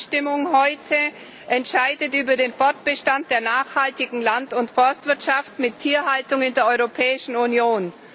Die Abstimmung heute entscheidet über den Fortbestand der nachhaltigen Land und Forstwirtschaft mit Tierhaltung in der Europäischen Union.